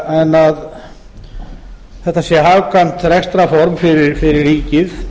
en að þetta sé hagkvæmt rekstrarform fyrir ríkið